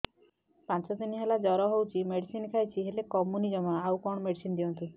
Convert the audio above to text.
ପାଞ୍ଚ ଦିନ ହେଲା ଜର ହଉଛି ମେଡିସିନ ଖାଇଛି ହେଲେ କମୁନି ଜମା ଆଉ କଣ ମେଡ଼ିସିନ ଦିଅନ୍ତୁ